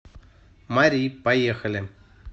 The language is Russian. мари поехали